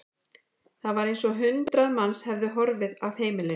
Það var eins og hundrað manns hefðu horfið af heimilinu.